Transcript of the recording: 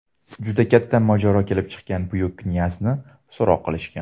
Juda katta mojaro kelib chiqqan, buyuk knyazni so‘roq qilishgan.